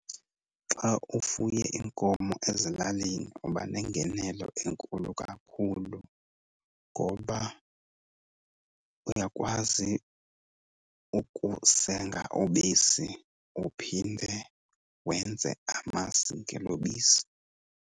Xa ufuye iinkomo ezilalini uba nengenelo enkulu kakhulu ngoba uyakwazi ukusenga ubisi uphinde wenze amasi ngelo bisi.